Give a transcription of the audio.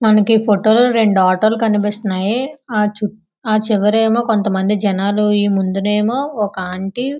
మనకి ఈ ఫోటో లో రెండు ఆటోలు కనిపిస్తున్నాయి. ఆ చు ఆ చివర ఏమో కొంతమంది జనాలు ఈ ముందు నేమో ఒక ఆంటీ --